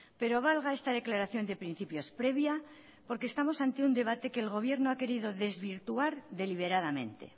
pero valga esta declaración de principios previa porque estamos ante un debate que el gobierno ha querido desvirtuar deliberadamente